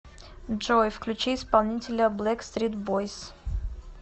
джой включи исполнителя бэкстрит бойс